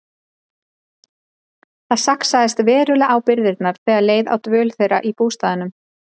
Það saxaðist verulega á birgðirnar þegar leið á dvöl þeirra í bústaðnum.